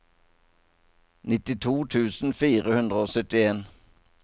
nittito tusen fire hundre og syttien